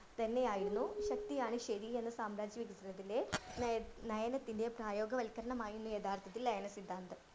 തന്നെയായിരുന്നു ശക്തിയാണ് ശെരിയെന്ന് സാമ്രാജ്യ നയ നയനത്തിന്റെ പ്രായോക വൽക്കരണമായിരുന്നു യഥാർത്ഥത്തിൽ ലയന സിദ്ധാന്തം.